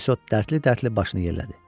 Morisot dərdli-dərdli başını yellədi.